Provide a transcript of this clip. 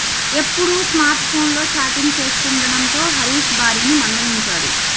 ఏప్పుడూ smart ఫోన్లో chatting చేస్తుండటంతో హరీష్ భార్యను మందలించాడు